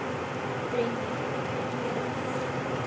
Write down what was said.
Brynný, hvernig er veðrið úti?